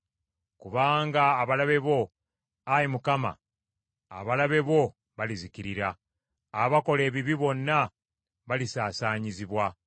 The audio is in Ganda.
Kubanga abalabe bo, Ayi Mukama , abalabe bo balizikirira, abakola ebibi bonna balisaasaanyizibwa.